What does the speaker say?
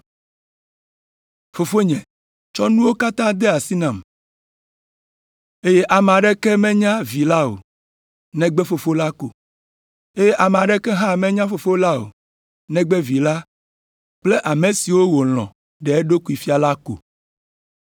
Fofonye tsɔ nuwo katã de asi nam, eye ame aɖeke menya Vi la o, negbe Fofo la ko, eye ame aɖeke hã menya Fofo la o, negbe Vi la kple ame siwo wòlɔ̃ ɖe eɖokui fia la ko.”